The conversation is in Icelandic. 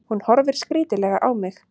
Hún horfir skrítilega á mig.